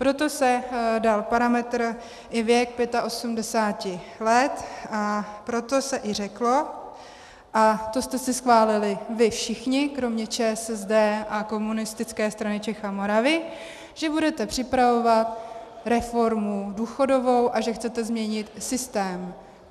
Proto se dal parametr i věk 85 let a proto se i řeklo, a to jste si schválili vy všichni kromě ČSSD a Komunistické strany Čech a Moravy, že budete připravovat reformu důchodovou a že chcete změnit systém.